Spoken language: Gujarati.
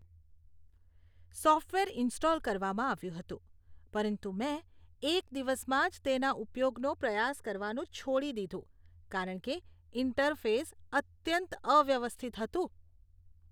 સોફ્ટવેર ઇન્સ્ટોલ કરવામાં આવ્યું હતું પરંતુ મેં એક દિવસમાં જ તેના ઉપયોગનો પ્રયાસ કરવાનું છોડી દીધું કારણ કે ઈન્ટરફેસ અત્યંત અવ્યવસ્થિત હતું.